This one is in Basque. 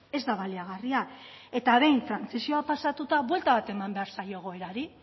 ez da baliagarria eta behin trantsizioa pasatuta buelta bat eman behar zaio egoerari